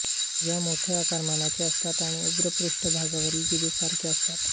या मोठ्या आकारमानाच्या असतात आणि उग्र पृष्ठभागावरील जिभेसारख्या असतात